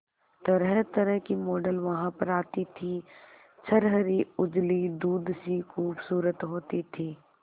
तरहतरह की मॉडल वहां पर आती थी छरहरी उजली दूध सी खूबसूरत होती थी